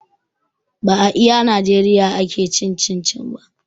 Ba a iya najeriya ake cin cin-cin ba